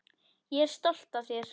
Ég er stolt af þér.